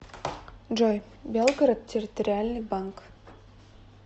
джой белгород территориальный банк